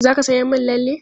Za ka sayan min lalle?